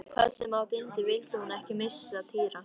Hvað sem á dyndi vildi hún ekki missa Týra.